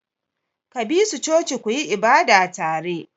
Ka bi su coci ku yi ibada tare!